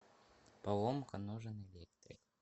поломка нужен электрик